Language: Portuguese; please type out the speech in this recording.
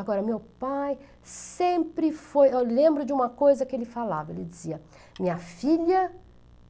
Agora, meu pai sempre foi, eu lembro de uma coisa que ele falava, ele dizia, minha filha,